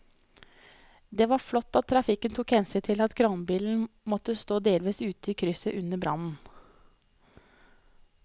Det var flott at trafikken tok hensyn til at kranbilen måtte stå delvis ute i krysset under brannen.